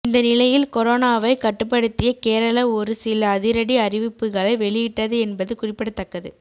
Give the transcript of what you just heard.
இந்த நிலையில் கொரோனாவை கட்டுப்படுத்திய கேரளா ஒருசில அதிரடி அறிவிப்புகளை வெளியிட்டது என்பது குறிப்பிடத்தக்கது